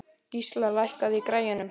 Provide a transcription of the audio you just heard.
Gísla, lækkaðu í græjunum.